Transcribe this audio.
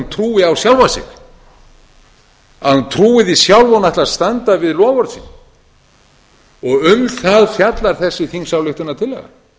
trúi á sjálfa sig að hún trúi því sjálf að hún ætli að standa við loforð sín um það fjallar þessi þingsályktunartillaga